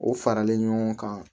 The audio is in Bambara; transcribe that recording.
O faralen ɲɔgɔn kan